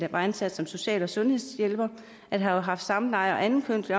var ansat som social og sundhedshjælper har haft samleje og anden kønslig